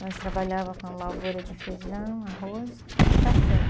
Nós trabalhava com lavoura de feijão, arroz e café.